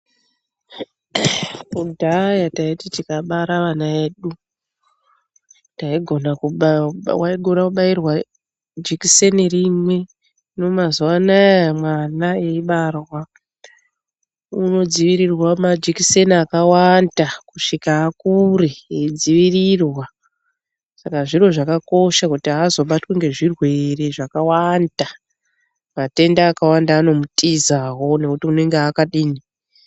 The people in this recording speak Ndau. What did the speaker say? Kudhaya taiti tikabara vana edu taigona waigona kubayiwa jikiseni rimwe. Hino mazuwa anaya mwana eibarwa, unodzivirirwa majikiseni akawanda kusvika akure eidzivirirwa. Saka zviro zvakakosha kuti aazobatwi ngezvirwere zvakawanda Matenda akawanda anomutizawo ngekuti unenge akadini.